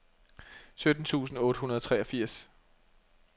sytten tusind otte hundrede og treogfirs